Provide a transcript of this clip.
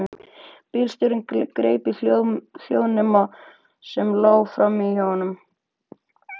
Bílstjórinn greip hljóðnema sem lá frammí hjá honum.